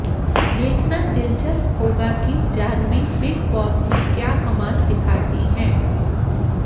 देखना दिलचस्प होगा कि जाह्नवी बिग बॉस में क्या कमाल दिखाती हैं